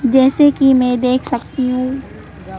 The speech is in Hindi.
जैसे कि मैं देख सकती हूं--